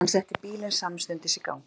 Hann setti bílinn samstundis í gang.